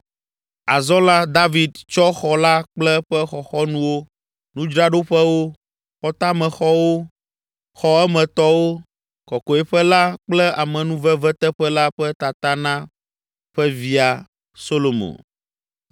Azɔ la, David tsɔ xɔ la kple eƒe xɔxɔnuwo, nudzraɖoƒewo, xɔtamexɔwo, xɔ emetɔwo, kɔkɔeƒe la kple amenuveveteƒe la ƒe tata na ƒe via Solomo.